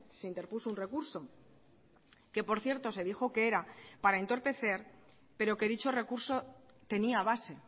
se interpuso un recurso que por cierto se dijo que era para entorpecer pero que dicho recurso tenía base